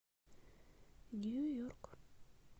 нью йорк